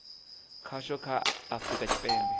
khasho kha a afurika tshipembe